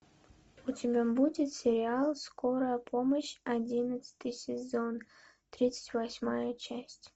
у тебя будет сериал скорая помощь одиннадцатый сезон тридцать восьмая часть